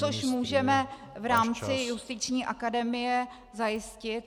Což můžeme v rámci Justiční akademie zajistit.